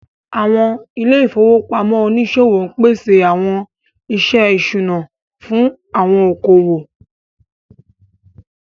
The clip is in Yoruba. Àwọn ilé ìfowópamọ́ oníṣòwò ń pèsè àwọn iṣẹ́ ìṣúná fún àwọn okòwò